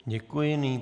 Děkuji.